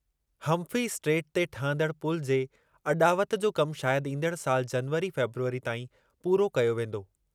Humphrey strait ते ठहंदड़ु पुलु जे अॾावत जो कमु शायदि ईंदड़ु सालि जनवरी फेबरवरी ताईं पूरो कयो वेंदो।